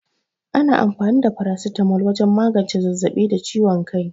Ana anfani da farasitamol wajen magance zazzaɓi da ciwon kai.